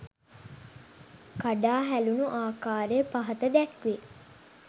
කඩා හැලුණු ආකාරය පහත දැක්වේ.